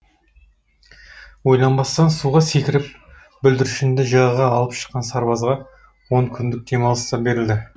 ойланбастан суға секіріп бүлдіршінді жағаға алып шыққан сарбазға он күндік демалыс та берілді